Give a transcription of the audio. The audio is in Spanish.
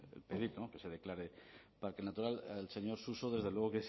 el pedir que se declare parque natural al señor suso desde luego